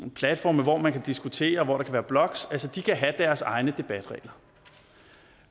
platforme hvor man kan diskutere hvor der kan være blogs kan have deres egne debatregler